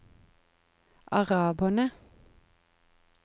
araberne